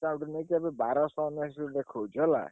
Discount ନେଇଚି ଏବେ ବାରଶହ ଟଙ୍କା ଦେଖଉଛି ହେଲା।